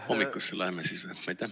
Hommikusse välja läheme siis või?